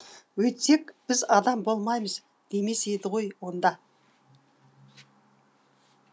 өйтсек біз адам болмаймыз демес еді ғой онда